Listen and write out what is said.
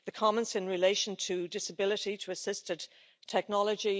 The comments in relation to disability, to assisted technology